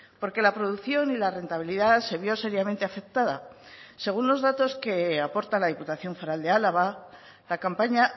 porque la producción y la rentabilidad se vio seriamente afectada según los datos que aporta la diputación foral de álava la campaña